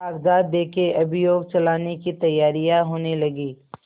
कागजात देखें अभियोग चलाने की तैयारियॉँ होने लगीं